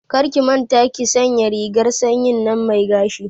Karki manta ki sanya rigar sanyin nan mai gashi